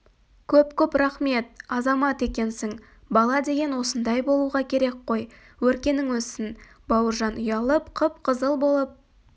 көп-көп рақмет азамат екенсің бала деген осындай болуға керек қой өркенің өссін бауыржан ұялып қып-қызыл болып